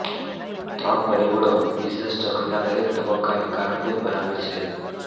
ત્રણ પરિબળો બિઝનેસ ચક્રના દરેક તબક્કાને કારણભૂત બનાવે છે